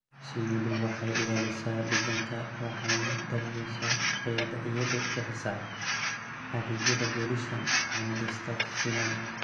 Shinnidu waxay ilaalisaa deegaanka waxayna daryeeshaa bay'ada iyadoo bixisa adeegyada pollination waxayna dhistaa finan.